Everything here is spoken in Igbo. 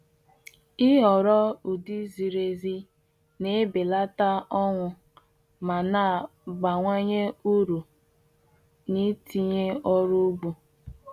Ịhọrọ ụdị ziri ezi na-ebelata ọnwụ ma na-abawanye uru n’itinye ọrụ ugbo.